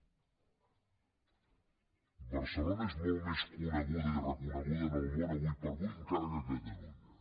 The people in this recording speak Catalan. barcelona és molt més coneguda i reconeguda en el món ara com ara encara que catalunya